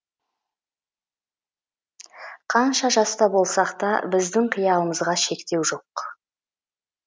қанша жаста болсақ та біздің қиялымызға шектеу жоқ